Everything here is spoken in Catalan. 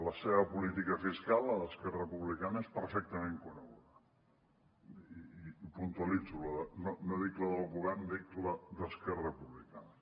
la seva política fiscal la d’esquerra republicana és perfectament coneguda i puntualitzo no dic la del govern dic la d’esquerra republicana